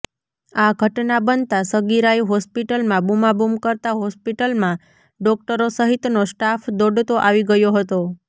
આ ઘટના બનતા સગીરાએ હોસ્પિટલમાં બૂમાબૂમ કરતા હોસ્પિટલમાં ડોકટરો સહિતનો સ્ટાફ દોડતો આવી ગયો હતો